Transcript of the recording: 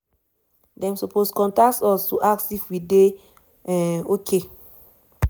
"dem suppose contact us to ask if we dey um okay?